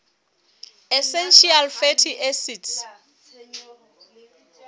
essential fatty acids